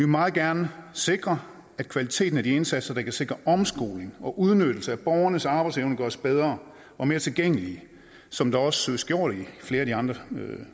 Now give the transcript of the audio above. meget gerne sikre at kvaliteten af de indsatser der kan sikre omskoling og udnyttelse af borgernes arbejdsevne gøres bedre og mere tilgængelige som det også søges gjort i flere af de andre